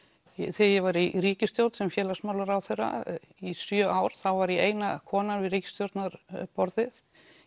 þegar ég var í ríkisstjórn sem félagsmálaráðherra í sjö ár þá var ég eina konan við ríkisstjórnarborðið